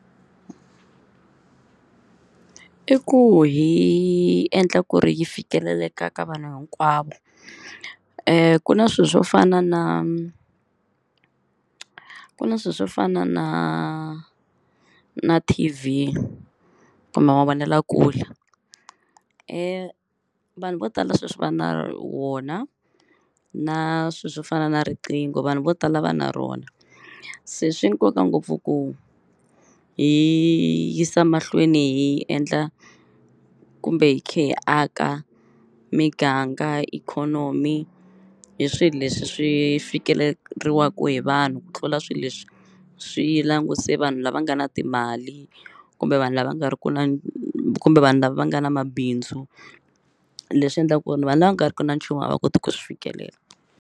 I ku hi endla ku ri yi fikeleleka ka vanhu hinkwavo. Ku na swilo swo fana na ku na swilo swo fana na na T_V kumbe mavonelakule vanhu vo tala sweswi va na wona na swilo swo fana na riqingho vanhu vo tala va na rona. Se swi nkoka ngopfu ku hi yisa mahlweni hi endla kumbe hi kha hi aka miganga ikhonomi hi swilo leswi swi fikeleriwa hi vanhu ku tlula swilo leswi swi langute vanhu lava nga na timali kumbe vanhu lava nga ri ku na kumbe vanhu lava va nga na mabindzu. Leswi endlaka ku ri vanhu lava nga ri ki na nchumu a va koti ku swi fikelela.